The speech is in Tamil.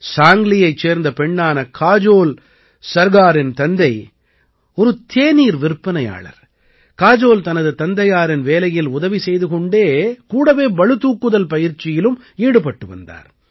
சாங்க்லியைச் சேர்ந்த பெண்ணான காஜோல் சர்காரின் தந்தை ஒரு தேநீர் விற்பனையாளர் காஜோல் தனது தந்தையாரின் வேலையில் உதவி செய்து கொண்டே கூடவே பளு தூக்குதல் பயிற்சியிலும் ஈடுபட்டு வந்தார்